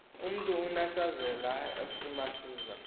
umntu unesazela esimazisa